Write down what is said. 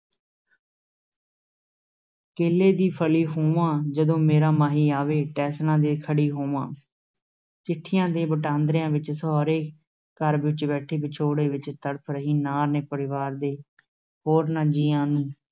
ਕੇਲੇ ਦੀ ਫਲੀ ਹੋਵਾਂ, ਜਦੋਂ ਮੇਰਾ ਮਾਹੀ ਆਵੇ, ਟੇਸ਼ਣਾਂ ਤੇ ਖੜੀ ਹੋਵਾਂ, ਚਿੱਠੀਆਂ ਦੇ ਵਟਾਂਦਰਿਆਂ ਵਿੱਚ ਸਹੁਰੇ ਘਰ ਵਿੱਚ ਬੈਠੀ ਵਿਛੋੜੇ ਵਿੱਚ ਤੜਫ ਰਹੀ ਨਾਰ ਨੇ ਪਰਿਵਾਰ ਦੇ ਹੋਰਨਾਂ ਜੀਆਂ